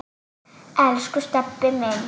Elsku Stebbi minn.